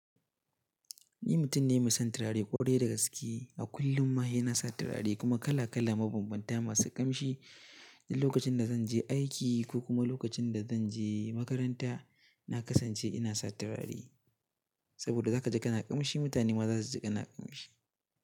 Ni mutum ne mai son turare ƙwarai da gaske. A kullum ma sai na sa turare kuma kala kala mabambanta masu ƙamshi. Lokacin da zan je aiki ko kuma lokacin da zan je makaranta, na kasance ina sa turare saboda za ka ji kana ƙamshi. Mutane ma za su ji kana ƙamshi.